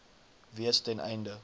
wees ten einde